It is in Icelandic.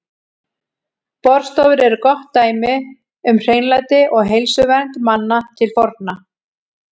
Baðstofur eru gott dæmi um hreinlæti og heilsuvernd manna til forna.